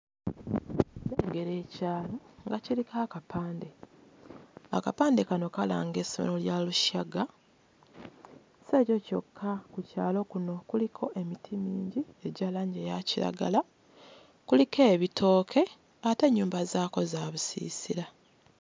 Nnengera ekyalo nga kiriko akapande. Akapande kano kalanga essomero lya Rushaga. Si ekyo kyokka, ku kyalo kuno kuliko emiti mingi egya langi eya kiragala. Kuliko ebitooke ate ennyumba zaakwo za busiisira.